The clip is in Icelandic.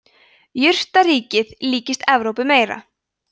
jurtaríkið líkist evrópu meira